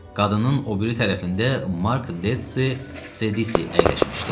Qadının o biri tərəfində Mark Detsi Cedisi əyləşmişdi.